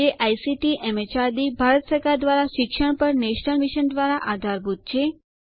જે ICT MHRD Bharat સરકાર દ્વારા શિક્ષણ પર નેશનલ મિશન દ્વારા આધારભૂત છે